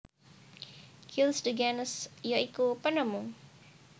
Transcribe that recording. Gilles de Gennes ya iku penemu